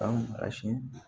An ka si